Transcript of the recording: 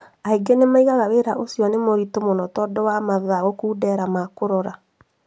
Angĩ nĩmoigaga wĩra ũcio nĩ mũritũ mũno tondũ wa mathaa gũkuundera ma kũrora